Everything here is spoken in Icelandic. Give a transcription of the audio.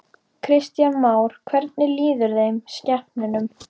Kristján Már: Hvernig líður þeim, skepnunum?